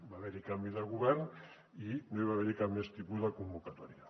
va haver hi canvi de govern i no hi va haver cap més tipus de convocatòria